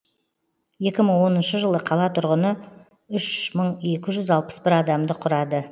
екі мың оныншы жылы қала тұрғыны үш мың екі жүз алпыс бір адамды құрады